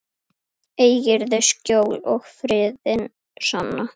Eigirðu skjól og friðinn sanna.